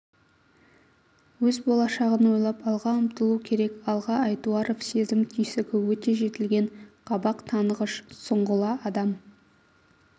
өз болашағын ойлап алға ұмтылу керек алға айтуаров сезім түйсігі өте жетілген қабақ танығыш сұңғыла адам